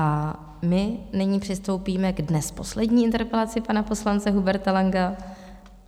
A my nyní přistoupíme dnes k poslední interpelaci pana poslance Huberta Langa.